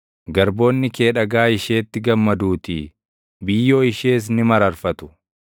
Garboonni kee dhagaa isheetti gammaduutii; biyyoo ishees ni mararfatu.